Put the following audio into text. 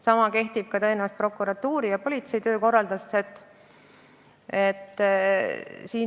Sama kehtib ka prokuratuuri ja politsei töökorralduse kohta.